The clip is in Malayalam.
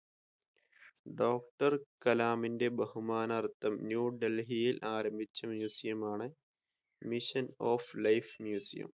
ഡോക്ടർ കലാമിന്റെ ബഹുമാനാർത്ഥം ന്യൂ ഡൽഹിയിൽ ആരംഭിച്ച museum ആണ് mission of life museum